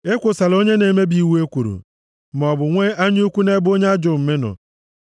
Ekwosola onye na-emebi iwu ekworo, maọbụ nwe anya ukwu nʼebe onye ajọ omume nọọ.